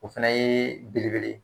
O fana ye belebele ye.